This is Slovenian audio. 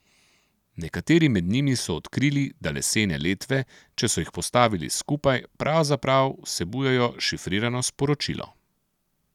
Nekateri med njimi so odkrili, da lesene letve, če so jih postavili skupaj, pravzaprav vsebujejo šifrirano sporočilo.